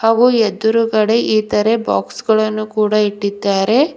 ಹಾಗು ಎದುರುಗಡೆ ಇತರೆ ಬಾಕ್ಸ್ ಗಳನ್ನು ಕೂಡ ಇಟ್ಟಿದ್ದಾರೆ.